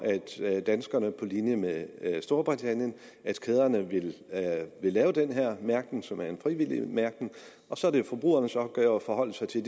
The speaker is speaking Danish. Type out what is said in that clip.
at danskerne butikskæderne på linje med storbritannien vil lave den her mærkning som er en frivillig mærkning så er det jo forbrugernes opgave at forholde sig til